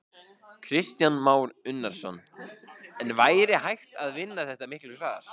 Kristján Már Unnarsson: En væri hægt að vinna þetta miklu hraðar?